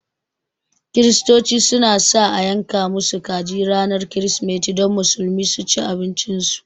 Kirsitoci su na sa a yanka musu kaji ranar kirismeti don Musulmi su ci abincin su